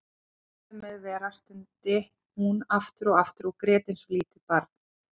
Æ, látið mig vera stundi hún aftur og aftur og grét eins og lítið barn.